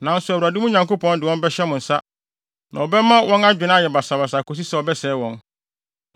Nanso Awurade, mo Nyankopɔn, de wɔn bɛhyɛ mo nsa, na ɔbɛma wɔn adwene ayɛ basabasa akosi sɛ ɔbɛsɛe wɔn.